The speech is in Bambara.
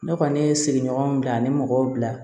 Ne kɔni ye sigiɲɔgɔnw bila ani mɔgɔw bila